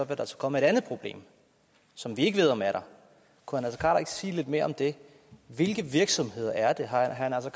der altså komme et andet problem som vi ikke ved om er der kunne herre ikke sige lidt mere om det hvilke virksomheder er det har herre naser